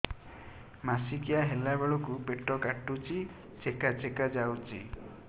ମାସିକିଆ ହେଲା ବେଳକୁ ପେଟ କାଟୁଚି ଚେକା ଚେକା ଯାଉଚି